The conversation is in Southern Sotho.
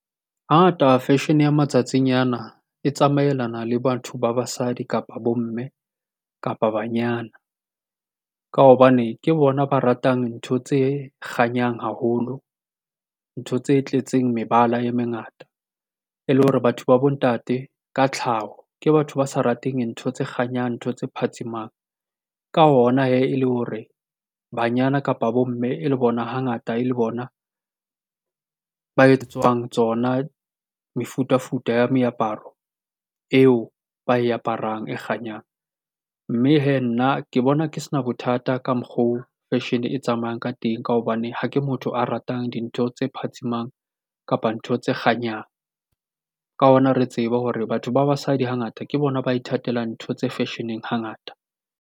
Hangata fashion ya matsatsing nyana e tsamaelana le batho ba basadi, kapa bo-mme, kapa banyana. Ka hobane ke bona ba ratang ntho tse kganyang haholo, ntho tse tletseng mebala e mengata e le hore batho ba bo-ntate ka tlhaho ke batho ba sa rateng ntho tse kganyang, ntho tse phatsimang. Ka ona hee, e le hore banyana kapa bo-mme hangata e le bona ba etsetswang tsona mefutafuta ya meaparo eo ba e aparang e kganyang, mme hee nna ke bona, ke se na bothata ka mokgo fashion e tsamayang ka teng ka hobane, ha ke motho a ratang dintho tse phatsimang kapa ntho tse kganyang. Ka hona re tsebe hore batho ba basadi hangata ke bona ba ithatela ntho tse fashion-eng hangata.